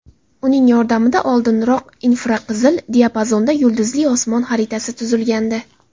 Uning yordamida oldinroq infraqizil diapazonda yulduzli osmon xaritasi tuzilgandi.